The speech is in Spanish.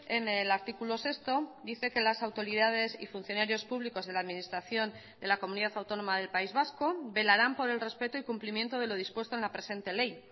en el artículo sexto dice que las autoridades y funcionarios públicos de la administración de la comunidad autónoma del país vasco velarán por el respeto y cumplimiento de lo dispuesto en la presente ley